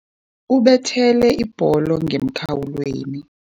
Ubethele ibholo ngemkhawulweni.